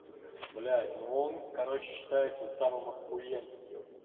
блять но он короче считается самым охуенным ёпта